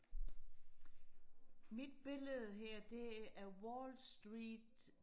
mit billede her det er wall street